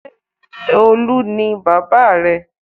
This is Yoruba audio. Ṣé Olu ni bábà rẹ?